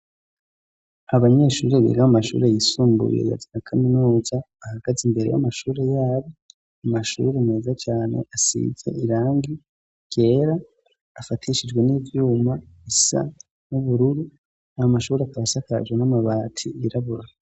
Abanyeshuri birib' amashuri yisumbuye yaznakaminoja bahagaze imbere y'amashuri yabo amashuri meza cane asizye irangi kera afatishijwe n'ivyuma isa n'ubururu amashuri akasakaje n'amabati irabura.